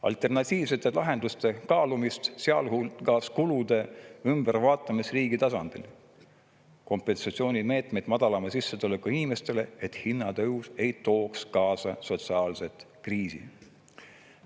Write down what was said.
Alternatiivsete lahenduste kaalumist, sealhulgas kulude ümbervaatamist riigi tasandil, ei ole, samuti kompensatsioonimeetmeid madalama sissetulekuga inimestele, et hinnatõus ei tooks kaasa sotsiaalset kriisi.